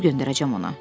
Pul göndərəcəm ona.